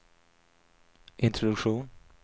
introduktion